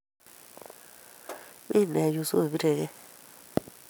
Mi me yuu soobiregei